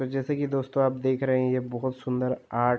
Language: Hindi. अर् जैसा कि दोस्तों आप देख रहे ये बोहोत सुन्दर आर्ट --